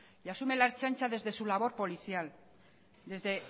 y asume la ertzaintza desde su labor policial desde